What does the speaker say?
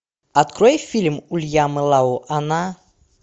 открой фильм уильяма лау она